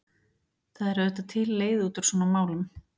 það er auðvitað til leið út úr svona málum.